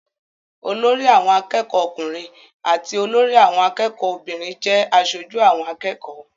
Olórí àwọn akẹ́kọ̀ọ́ ọkùnrin àti olórí àwọn akẹ́kọ̀ọ́ obìnrin jẹ́ aṣojú àwọn akẹ́kọ̀ọ́.